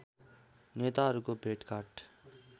नेताहरूको भेटघाट